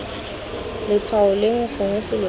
letshwao leo gongwe selo seo